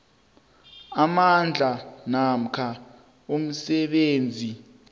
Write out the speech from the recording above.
amandla namkha umsebenzi